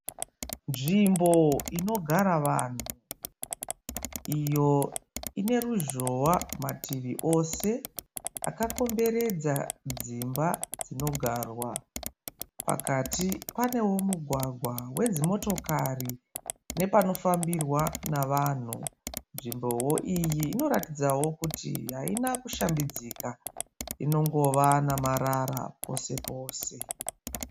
Nzvimbo inogara vanhu iyo ine ruzhowa mativi ose akakomberedza dzimba dzinogarwa. Pakati panewo mugwagwa wedzimotokari nepanofambirwa navanhu. Nzvimbowo iyi inoratidza kuti haina kushambidzika inongova namarara pose pose.